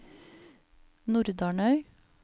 Nordarnøy